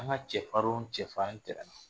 An ka cɛfarin wo cɛfarin tɛmɛna